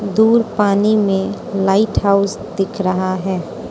दूर पानी में लाइट हाउस दिख रहा है।